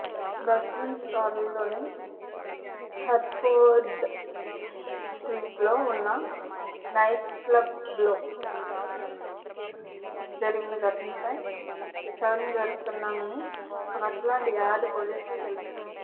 వెస్ట్మిన్స్టర్లోని Hertford స్ట్రీట్లో ఉన్న నైట్క్లబ్లో జరిగిన ఘటనపై విచారణ జరుపుతున్నామని స్కాట్లాండ్ యార్డ్ పోలీసులు తెలిపారు